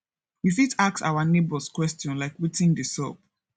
we fit ask our neigbours question like wetin de sup